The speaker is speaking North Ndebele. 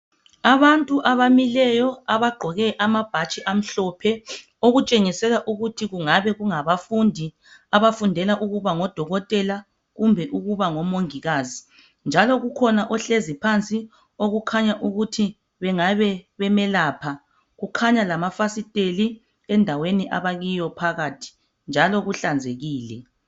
Abantu abamileyo abagqoke amabhatshi amhlophe okutshengisela ukuthi kungabe kungabafundi abafundela ukuba ngodokotela kumbe ukuba ngomongikazi njalo kukhona ohlezi phansi okukhanya ukuthi bengabe bemelapha kukhanya lamafasiteli endaweni abakiyo phakathi njalo kuhlanzekile